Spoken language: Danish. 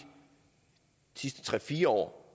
sidste tre fire år